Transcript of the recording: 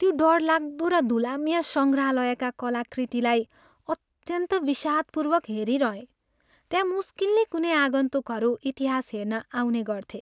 त्यो डरलाग्दो र धुलाम्य सङ्ग्रहालयका कलाकृतिलाई अत्यन्त विषादपूर्वक हेरिरहेँ। त्यहाँ मुस्किलले कुनै आगन्तुकहरू इतिहास हेर्न आउने गर्थे।